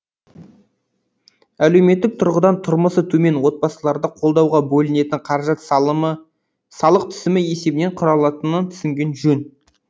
әлеуметтік тұрғыдан тұрмысы төмен отбасыларды қолдауға бөлінетін қаражат салық түсімі есебінен құралатынын түсінген жөн